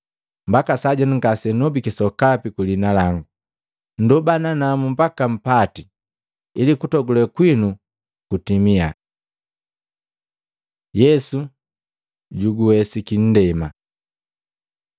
Mbaka sajenu ngasenndobiki sokapi ku liina langu. Nndoba nanamu mbaka mpati ili kutogule kwinu kutimia. Yesu juguwesiki nndema